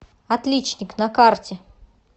отличник на карте